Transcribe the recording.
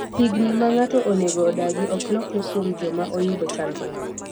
higni ma ng'ato onego odagi ok lokre kuom joma oyudo chandruok